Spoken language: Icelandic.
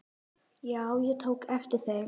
Já, ég tók eftir þeim.